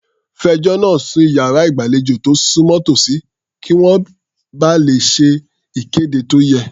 Fẹjọ́ náà sùn sí iyàrá ìgbàlejò tó súnmọ́ tòsí, kí wọ́n ba lè ṣe ìkéde tó yẹ.